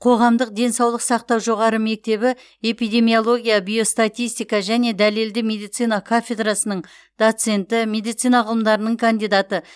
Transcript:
қоғамдық денсаулық сақтау жоғары мектебі эпидемиология биостатистика және дәлелді медицина кафедрасының доценті медицина ғылымдарының кандидаты